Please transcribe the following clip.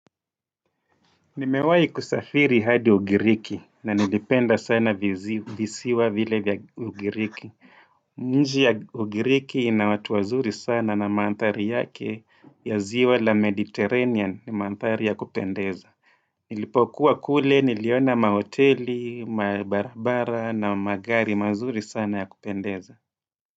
Nimewahi kusafiri hadi ugiriki na nilipenda sana visiwa vile vya ugiriki. Nchi ya ugiriki ina watu wazuri sana na mandhari yake ya ziwa la mediterranean ni mandhari ya kupendeza. Nilipokuwa kule, niliona mahoteli, mabarabara na magari mazuri sana ya kupendeza.